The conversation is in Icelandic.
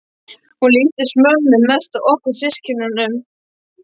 Hún líkist mömmu mest af okkur systkinunum.